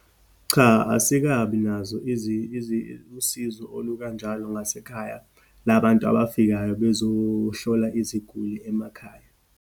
Cha, asikabi nazo usizo olukanjalo ngasekhaya, labantu abafikayo bezohlola iziguli emakhaya.